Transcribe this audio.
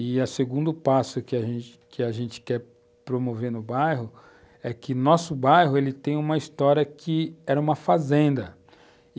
E o segundo passo que a gente que a gente quer promover no bairro é que nosso bairro tem uma história que era uma fazenda.